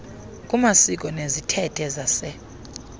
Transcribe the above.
kumasiko nezithethe zase